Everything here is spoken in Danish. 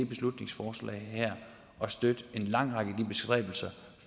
beslutningsforslag at støtte en lang række af de bestræbelser